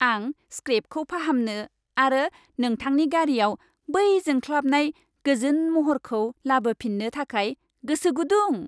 आं स्क्रेपखौ फाहामनो आरो नोंथांनि गारिआव बै जोंख्लाबनाय, गोजोन महरखौ लाबोफिननो थाखाय गोसो गुदुं!